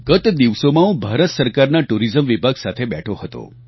ગત દિવસોમાં હું ભારત સરકારના ટુરિઝમ વિભાગ સાથે બેઠો હતો